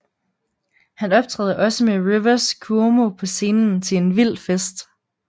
Han optræder også med Rivers Cuomo på scenen til en vild fest